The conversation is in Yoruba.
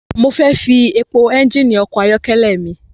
Mo fẹ́ fi epo ẹ́ngìnì ọkọ̀ ayọ́kẹ́lẹ́ mi.